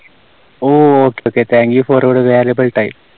Oh Okay, Okay. Thank you for your valuable time.